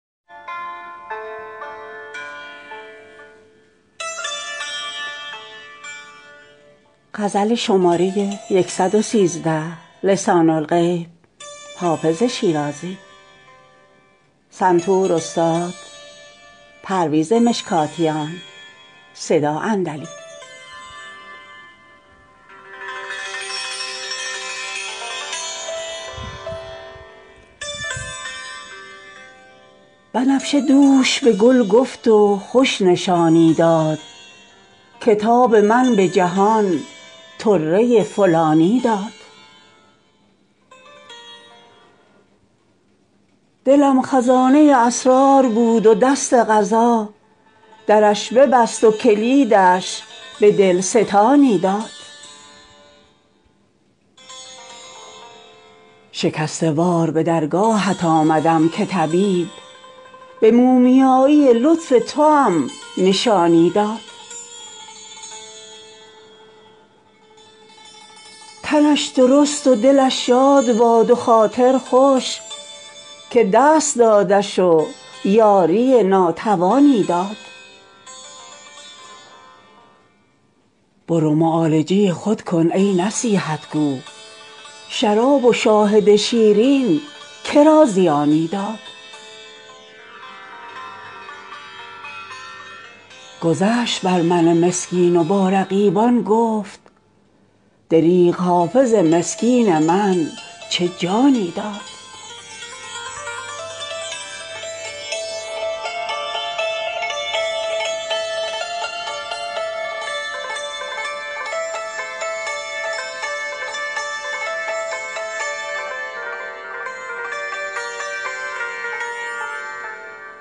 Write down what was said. بنفشه دوش به گل گفت و خوش نشانی داد که تاب من به جهان طره فلانی داد دلم خزانه اسرار بود و دست قضا درش ببست و کلیدش به دل ستانی داد شکسته وار به درگاهت آمدم که طبیب به مومیایی لطف توام نشانی داد تنش درست و دلش شاد باد و خاطر خوش که دست دادش و یاری ناتوانی داد برو معالجه خود کن ای نصیحت گو شراب و شاهد شیرین که را زیانی داد گذشت بر من مسکین و با رقیبان گفت دریغ حافظ مسکین من چه جانی داد